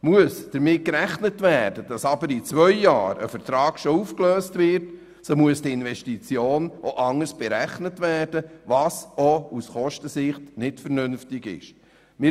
Muss damit gerechnet werden, dass ein solcher Vertrag bereits nach zwei Jahren aufgelöst wird, muss die Investition anders abgeschrieben werden, was auch aus Kostensicht unvernünftig ist.